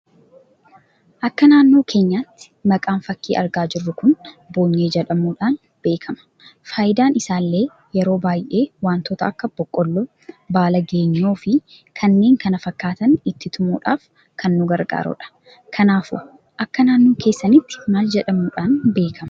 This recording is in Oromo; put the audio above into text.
Akka naannoo keenyaatti maqaan fakkii argaa jirru kun boonyee jedhamuudhan beekama. Faayidaan isaallee yeroo baay'ee wantoota akka, Boqqolloo, baala Geenyoo, fi kanneen kana fakkatan itti tumuudhaf kan nu gargaarudha. Kanaafu akka naannoo keessanitti maal jedhamudhan beekama?